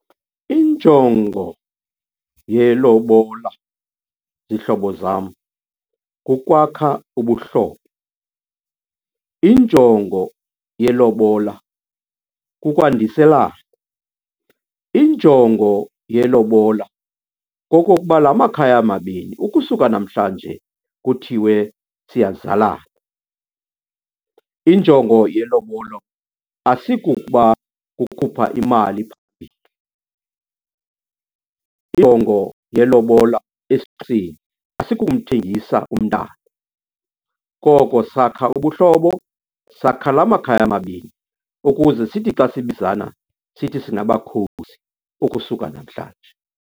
Injongo yelobola, zihlobo zam, kukwakha ubuhlobo. Injongo yelobola kukwandiselana. Injongo yelobola kokokuba la makhaya mabini, ukusuka namhlanje kuthiwe siyazalana. Injongo yelobolo asikuko ukuba kukhupha imali. Injongo yelobola asikumthengisa umntana, koko sakha ubuhlobo, sakha la makhaya mabini ukuze sithi xa sibizana, sithi singabakhozi ukusuka namhlanje.